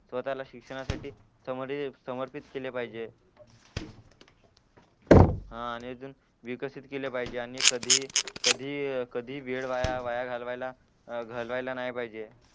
स्वतःला शिक्षणासाठी समर्पित केले पाहिले हा आणि अजून विकसित केले पाहिजे आणि कधी कधीही वेळ वाया वाया घालवायला अह घालवायला नाय पाहिजे